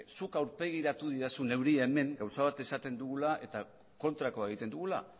zuk aurpegiratu didazu neuri hemen gauza bat esaten dugula eta kontrakoa egiten dugula